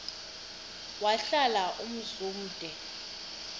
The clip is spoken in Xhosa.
wahlala umzum omde